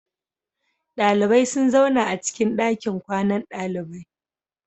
Dalibai sun zauna acikin dakin kwanan dalibai.